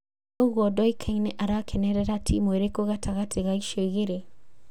Ũguo ndoĩkaine arakenerera timũ ĩrĩkũ gatagatĩ ga icio igĩrĩ